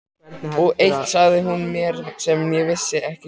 Og eitt sagði hún mér sem ég vissi ekki sjálfur.